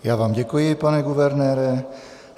Já vám děkuji, pane guvernére.